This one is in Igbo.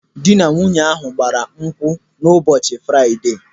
Dị na nwunye ahụ gbara nkwụ na ụbọchị Fraịde.